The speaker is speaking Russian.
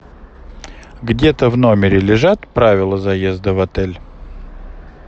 где то в номере лежат правила заезда в отель